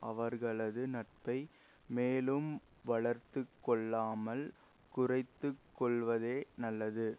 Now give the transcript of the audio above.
அவர்களது நட்பை மேலும் வளர்த்து கொள்ளாமல் குறைத்து கொள்வதே நல்லது